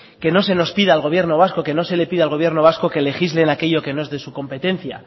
que no se nos pida al gobierno vasco que no se le pida al gobierno vasco que legisle en aquello que no es de su competencia